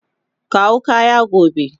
Kawo kaya gobe.